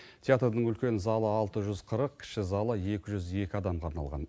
театрдың үлкен залы алты жүз қырық кіші залы екі жүз екі адамға арналған